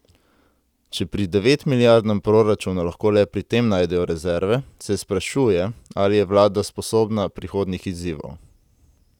Če pri devetmilijardnem proračunu lahko le pri tem najdejo rezerve, se sprašuje, ali je vlada sposobna prihodnjih izzivov.